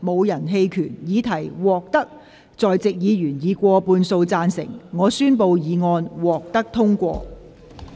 由於議題獲得在席議員以過半數贊成，她於是宣布議案獲得通過。